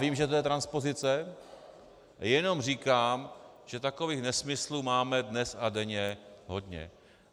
Vím, že to je transpozice, jenom říkám, že takových nesmyslů máme dnes a denně hodně.